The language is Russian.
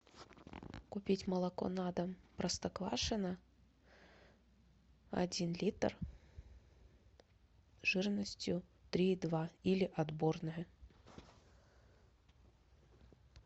купить молоко на дом простоквашино один литр жирностью три и два или отборное